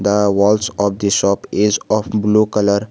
the walls of the shop is of blue colour.